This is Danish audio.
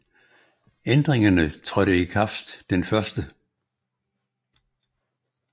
Ændringerne trådte i kraft den 1